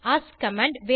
ask command